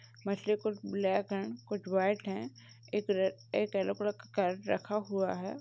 मछली कुछ ब्लैक हैं। कुछ व्हाइट हैं। एक रे येलो कलर का कैरट रखा हुआ है।